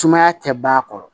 Sumaya tɛ ban a kɔrɔ